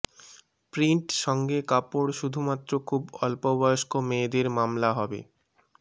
print সঙ্গে কাপড় শুধুমাত্র খুব অল্পবয়স্ক মেয়েদের মামলা হবে